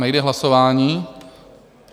Nejde hlasování?